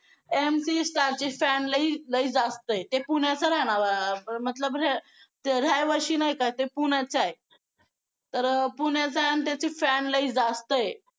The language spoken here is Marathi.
MC Stan ची fan लई लई जास्त आहे ते पुण्याचं आहे ना मतलब रहिवाशी नाही का ते पुण्याचं आहे तर पुण्याचा आहे आणि त्याची fan लई जास्त आहे.